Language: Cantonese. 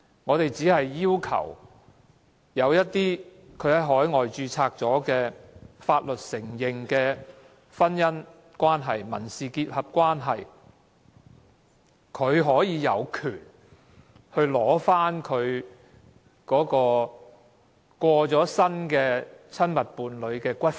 我們只是要求在海外註冊獲海外法律承認的婚姻關係和民事結合的另一方有權領取其過世的親密伴侶的骨灰。